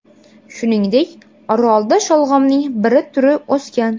Shuningdek, orolda sholg‘omning bir turi o‘sgan.